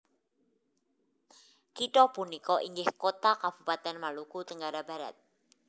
Kitha punika inggih kota kabupaten Maluku Tenggara Barat